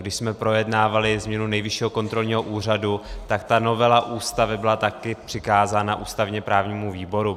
Když jsme projednávali změnu Nejvyššího kontrolního úřadu, tak ta novela Ústavy byla taky přikázána ústavně-právnímu výboru.